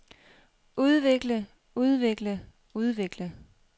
udvikle udvikle udvikle